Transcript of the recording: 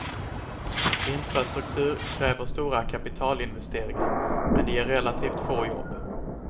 Infrastruktur kräver stora kapitalinvesteringar, men ger relativt få jobb.